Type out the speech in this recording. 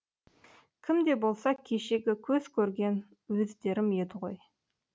кім де болса кешегі көз көрген өздерім еді ғой